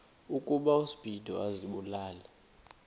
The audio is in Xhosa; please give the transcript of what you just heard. ukuba uspido azibulale